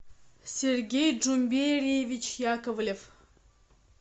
сергей джумбериевич яковлев